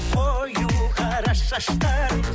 қою қара шаштарың